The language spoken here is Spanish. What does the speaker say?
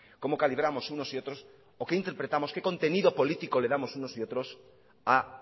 cómo calibramos unos y otros o qué interpretamos qué contenido político le damos unos y otros a